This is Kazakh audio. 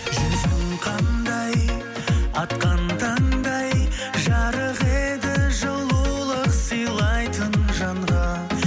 жүзің қандай атқан таңдай жарық еді жылулық сыйлайтын жанға